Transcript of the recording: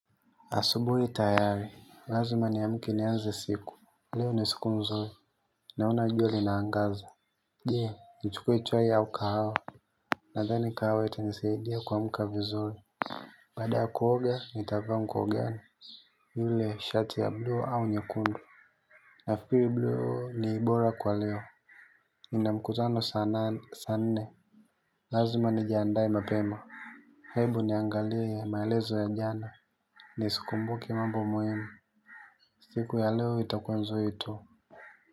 Asubuhi lazima niamke nianze siku. Leo ni siku mzuri, naona jua linaangaza. Je, nichukue chai au kahawa. Nadhani kahawa ita nisaidia kuamka vizuri. Baada ya kuoga nitavaa nguo gani. Yule shati ya bluu au nyekundu. Nafikiri bluu ni bora kwa leo. Nina mkutano saa nne. Lazima nijiandae mapema. Hebu niangalia maelezo ya jana. Nizi kumbuke mambo muhimu. Siku ya leo ita kuwa nzuri tu.